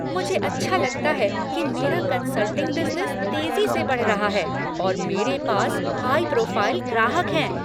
मुझे अच्छा लगता है कि मेरा कन्सल्टिंग बिजनेस तेजी से बढ़ रहा है, और मेरे पास हाई प्रोफाइल ग्राहक हैं।